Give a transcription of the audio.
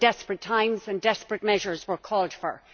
They were desperate times, and desperate measures were called for.